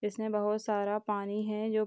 इसमें बहुत सारा पानी है जो --